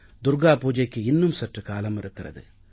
துர்கா பூஜைக்கு இன்னும் சற்று காலம் இருக்கிறது